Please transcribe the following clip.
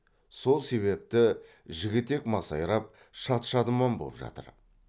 сол себепті жігітек масайрап шат шадыман боп жатыр